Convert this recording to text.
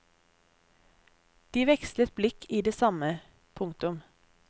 De vekslet blikk i det samme. punktum